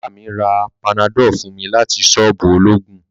Baba mi ra panadol fun mi lati soobu ologun